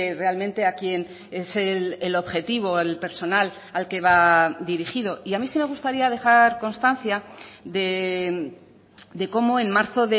realmente a quien es el objetivo el personal al que va dirigido y a mí sí me gustaría dejar constancia de cómo en marzo